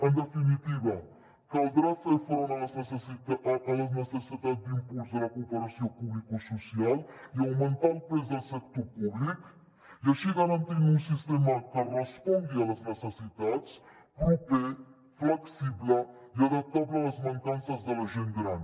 en definitiva caldrà fer front a les necessitats d’impuls de la cooperació publicosocial i augmentar el pes del sector públic i així garantir un sistema que respongui a les necessitats proper flexible i adaptable a les mancances de la gent gran